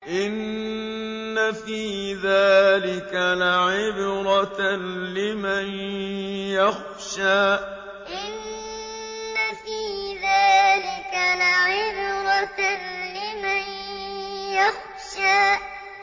إِنَّ فِي ذَٰلِكَ لَعِبْرَةً لِّمَن يَخْشَىٰ إِنَّ فِي ذَٰلِكَ لَعِبْرَةً لِّمَن يَخْشَىٰ